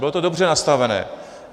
Bylo to dobře nastavené.